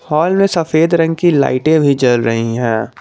हाल में सफेद रंग की लाइटें भी जल रही है।